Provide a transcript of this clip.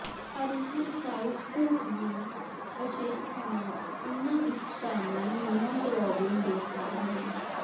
ਅਰੀਥਰਸਾਈਟਸ ਦੀਆਂ ਵਿਸ਼ੇਸ਼ਤਾਵਾਂ ਉਨ੍ਹਾਂ ਵਿੱਚ ਸ਼ਾਮਲ ਹੀਮੋਗਲੋਬਿਨ ਦੇ ਕਾਰਨ ਹਨ